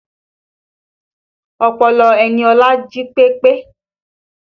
Ọpọlọ Eniola jí pepe